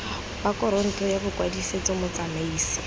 ba kantoro ya bokwadisetso motsamaisi